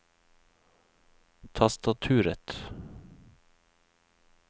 tastaturet